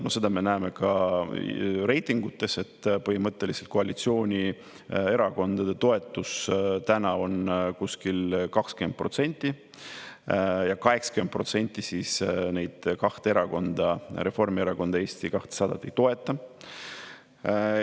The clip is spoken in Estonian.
No seda me näeme ka reitingutes, et põhimõtteliselt koalitsioonierakondade toetus on kuskil 20% ja 80% – neid kahte erakonda, Reformierakond ja Eesti 200, ei toeta.